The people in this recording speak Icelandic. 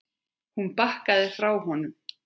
Hún bakkaði frá honum.